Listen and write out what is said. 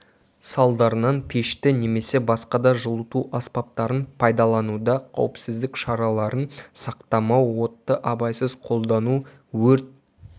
салдарынан пешті немесе басқа да жылыту аспаптарын пайдалануда қауіпсіздік шараларын сақтамау отты абайсыз қолдану өрт